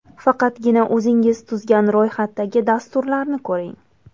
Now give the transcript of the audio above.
Faqatgina o‘zingiz tuzgan ro‘yxatdagi dasturlarni ko‘ring.